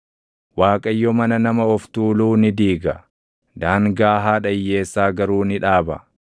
Waaqayyo mana nama of tuuluu ni diiga; daangaa haadha hiyyeessaa garuu ni dhaaba.